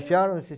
Fecharam esses